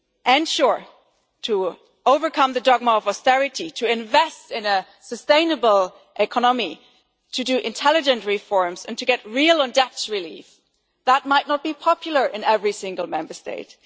And sure, to overcome the dogma of austerity, to invest in a sustainable economy, to carry out intelligent reforms and to get real on debt relief, that might not be popular in every single Member State.